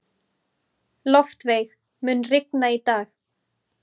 Loftveig, mun rigna í dag?